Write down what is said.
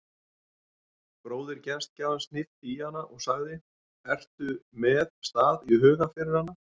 Bróðir gestgjafans hnippti í hana og sagði: ertu með stað í huga fyrir hana?